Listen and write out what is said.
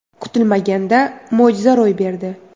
Kutilmaganda mo‘jiza ro‘y berdi!